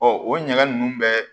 Ɔ o ɲɛgɛn ninnu bɛɛ